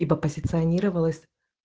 ибо позиционировалась